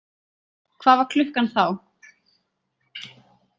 Hvað var klukkan þá?